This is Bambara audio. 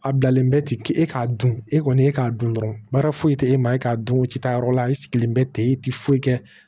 A bilalen bɛ ten e k'a dun e kɔni e k'a dun dɔrɔn baara foyi tɛ e maa e k'a dun o ci ta yɔrɔ la e sigilen bɛ ten i tɛ foyi kɛ